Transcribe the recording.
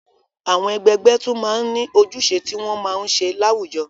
Àwọn ẹgbẹgbẹ́ tún máa ń ní ojúṣe tí wọ́n máa ń ṣe láwùjọ.